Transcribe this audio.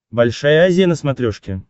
большая азия на смотрешке